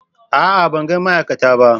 A'a! Ban ga ma'aikata ba.